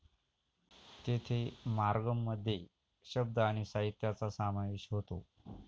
तेथे मार्गाम मध्ये शब्द आणि साहित्याचा समावेश होतो.